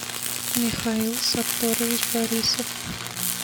михаил сатторович борисов